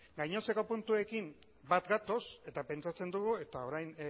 gainontzeko puntuekin bat gatoz eta pentsatzen dugu eta orain